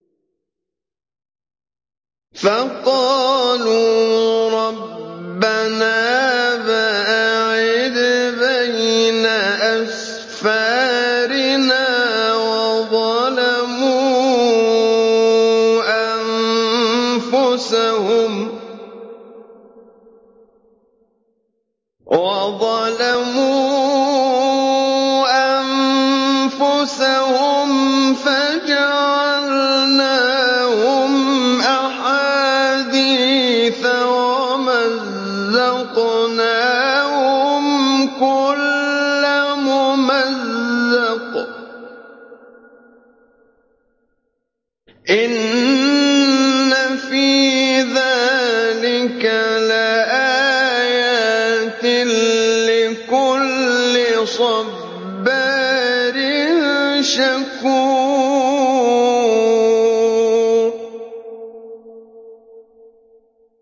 فَقَالُوا رَبَّنَا بَاعِدْ بَيْنَ أَسْفَارِنَا وَظَلَمُوا أَنفُسَهُمْ فَجَعَلْنَاهُمْ أَحَادِيثَ وَمَزَّقْنَاهُمْ كُلَّ مُمَزَّقٍ ۚ إِنَّ فِي ذَٰلِكَ لَآيَاتٍ لِّكُلِّ صَبَّارٍ شَكُورٍ